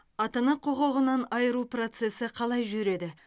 ата ана құқығынан айыру процесі қалай жүреді